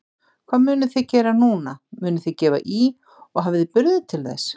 Hvað munuð þið gera núna, munuð þið gefa í og hafið þið burði til þess?